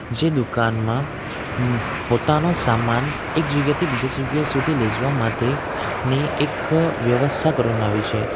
જે દુકાનમાં પોતાનો સામાન એક જગ્યાએથી બીજી જગ્યાએ સુધી લેઈ જવા માટેની એક વ્યવસ્થા કરવામાં આવી છે.